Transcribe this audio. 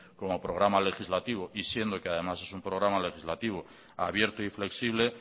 como programa legislativo y siendo que además es un programa legislativo abierto y flexible